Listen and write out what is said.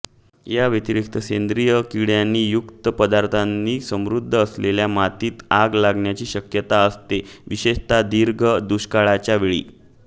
याव्यतिरिक्त सेंद्रिय किडणेयुक्त पदार्थांनी समृद्ध असलेल्या मातीत आग लागण्याची शक्यता असते विशेषत दीर्घ दुष्काळाच्या वेळी